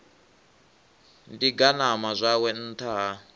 ḓi ganama zwawe nṱtha ha